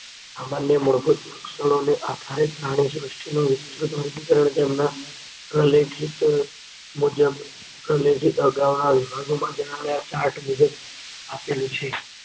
સામાન્ય મૂળભૂત લક્ષણોને આધારે પ્રાણીસૃષ્ટિનું વિસ્તૃત વર્ગીકરણ તેમના પ્રલેખિત મુજબ ચાર્ટ મુજબ આપેલું છે.